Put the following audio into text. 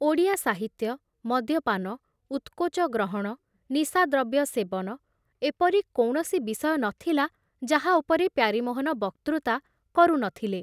ଓଡ଼ିଆ ସାହିତ୍ୟ, ମଦ୍ୟପାନ, ଉତ୍କୋଚ ଗ୍ରହଣ, ନିଶାଦ୍ରବ୍ୟ ସେବନ ଏପରି କୌଣସି ବିଷୟ ନ ଥିଲା ଯାହା ଉପରେ ପ୍ୟାରୀମୋହନ ବକ୍ତୃତା କରୁ ନଥିଲେ।